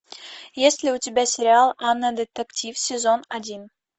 есть ли у тебя сериал анна детектив сезон один